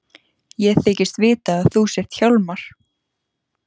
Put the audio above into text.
Ég þykist vita að þú sért Hjálmar.